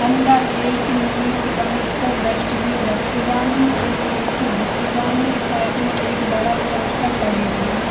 अंदर एक नीले रंग को डस्टबिन रखी बानी एक खिड़की दिखे बानी साइड में एक बड़ा पोस्टर लगे बानी।